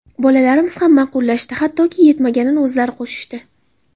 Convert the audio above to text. Bolalarimiz ham ma’qullashdi, hattoki yetmaganini o‘zlari qo‘shishdi.